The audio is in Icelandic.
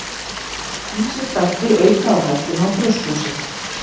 Ýmsir þættir auka á hættuna á brjósklosi.